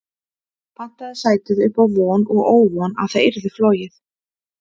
Pantaði sætið upp á von og óvon að það yrði flogið.